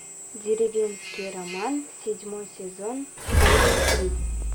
деревенский роман седьмой сезон серия три